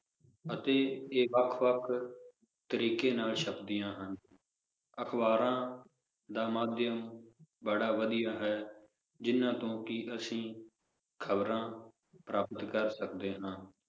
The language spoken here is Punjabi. ਅਤੇ ਇਹ ਵੱਖ-ਵੱਖ ਤਰੀਕੇ ਨਾਲ ਛਪਦੀਆਂ ਹਨ ਅਖਬਾਰਾਂ ਦਾ ਮਾਧਿਅਮ ਬੜਾ ਵਧੀਆ ਹੈ, ਜਿਹਨਾਂ ਤੋਂ ਕਿ ਅਸੀਂ ਖਬਰਾਂ ਪ੍ਰਾਪਤ ਕਰ ਸਕਦੇ ਹਾਂ